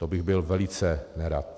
To bych byl velice nerad.